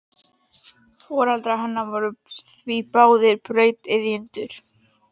Foreldrar hennar voru því báðir brautryðjendur.